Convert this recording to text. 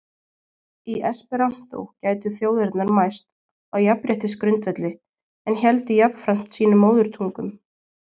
Í esperantó gætu þjóðirnar mæst á jafnréttisgrundvelli- en héldu jafnframt sínum móðurtungum.